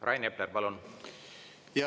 Rain Epler, palun!